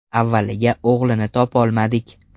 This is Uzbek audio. Avvaliga o‘g‘lini topolmadik.